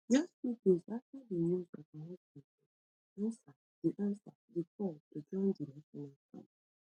just few days afta di news of her husband death she ansa di ansa di call to join di national camp